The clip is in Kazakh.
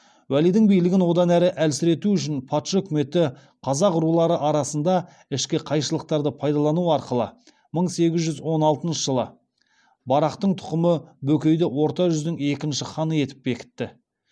уәлидің билігін одан әрі әлсірету үшін патша өкіметі қазақ рулары арасында ішкі қайшылықтарды пайдалану арқылы мың сегіз жүз он алтыншы жылы барақтың тұқымы бөкейді орта жүздің екінші ханы етіп бекітті